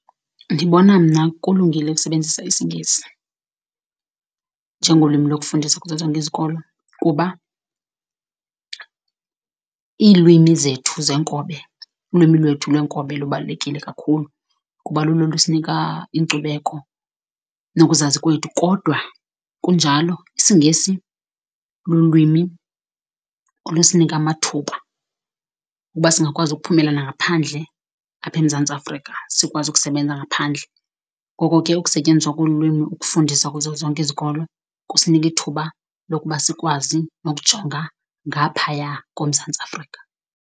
Ndibona mna kulungile ukusebenzisa isiNgesi njengolwimi lokufundisa kuzo zonke izikolo, kuba iilwimi zethu zeenkobe, ulwimi lwethu lwenkobe lubalulekile kakhulu kuba lulo olusinika inkcubeko nokuzazi kwethu kodwa kunjalo isiNgesi lulwimi olusinika amathuba ukuba singakwazi ukuphumela nangaphandle apha eMzantsi Afrika, sikwazi ukusebenza ngaphandle. Ngoko ke ukusetyenziswa kolwimi ukufundisa kuzo zonke izikolo kusinika ithuba lokuba sikwazi nokujonga ngaphaya koMzantsi Afrika.